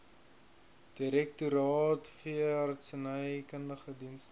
direktoraat veeartsenykundige dienste